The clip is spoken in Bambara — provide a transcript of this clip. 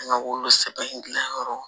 An ka wolo sɛbnɛ yɔrɔ